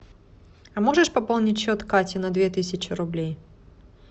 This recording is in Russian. а можешь пополнить счет кати на две тысячи рублей